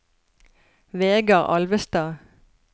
Vegar Alvestad